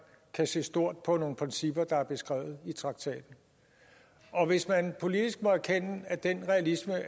kan se stort på nogle principper der er beskrevet i traktaten og hvis man politisk må erkende at den realisme